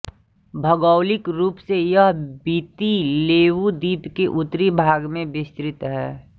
भौगोलिक रूप से यह विति लेवु द्वीप के उत्तरी भाग में विस्तृत है